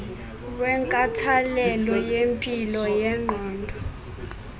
wenkathalelo yempilo yengqondo